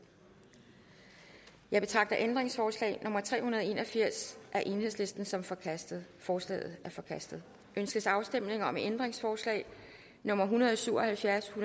jeg betragter ændringsforslag nummer tre hundrede og en og firs af el som forkastet forslaget er forkastet ønskes afstemning om ændringsforslag nummer en hundrede og syv og halvfjerds